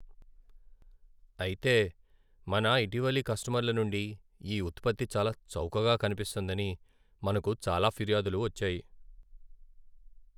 అయితే, మన ఇటీవలి కస్టమర్ల నుండి ఈ ఉత్పత్తి చాలా చౌకగా కనిపిస్తోందని మనకు చాలా ఫిర్యాదులు వచ్చాయి..